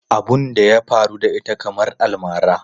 Abun da ya faru da ita kamar almara.